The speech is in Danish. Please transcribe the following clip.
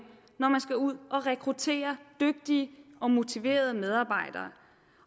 når man skal ud at rekruttere dygtige og motiverede medarbejdere